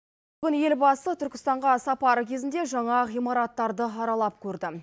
бүгін елбасы түркістанға сапары кезінде жаңа ғимараттарды аралап көрді